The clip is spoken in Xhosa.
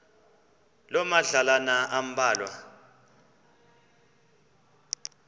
loo madlalana ambalwa